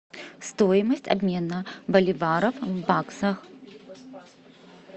стоимость обмена боливара в баксах